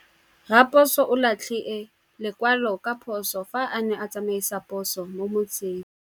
Raposo o latlhie lekwalô ka phosô fa a ne a tsamaisa poso mo motseng.